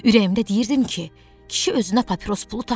Ürəyimdə deyirdim ki, kişi özünə papiros pulu tapmır.